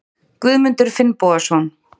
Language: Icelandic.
Guðmundur Finnbogason